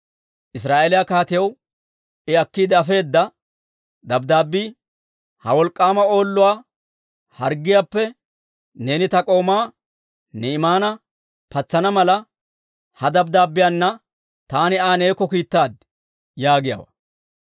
Israa'eeliyaa kaatiyaw I akkiide afeedda dabddaabbii, «Ha wolk'k'aama Oolluwaa harggiyaappe neeni ta k'oomaa Ni'imaana patsana mala, ha dabddaabbiyaana taani Aa neekko kiittaad» yaagiyaawaa.